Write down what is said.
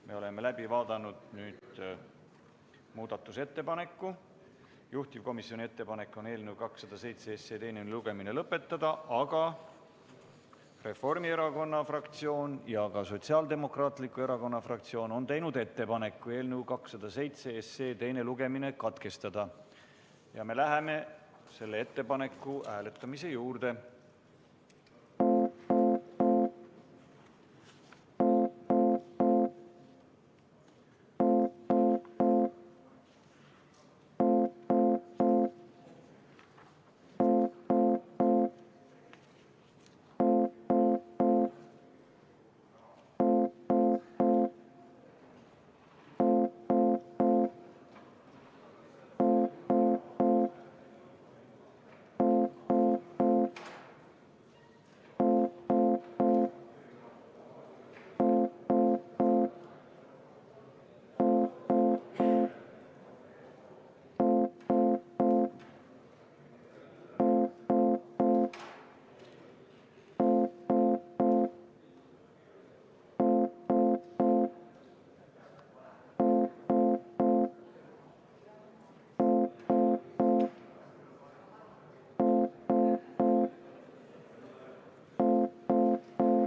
Me oleme läbi vaadanud muudatusettepaneku, juhtivkomisjoni ettepanek on eelnõu 207 teine lugemine lõpetada, aga Reformierakonna fraktsioon ja Sotsiaaldemokraatliku Erakonna fraktsioon on teinud ettepaneku eelnõu 207 teine lugemine katkestada, ja me läheme selle ettepaneku hääletamise juurde.